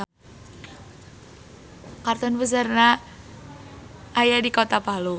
Kantor puseurna aya di kota Palu.